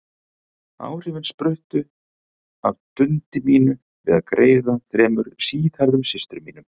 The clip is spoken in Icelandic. Áhrifin spruttu af dundi mínu við að greiða þremur síðhærðum systrum mínum.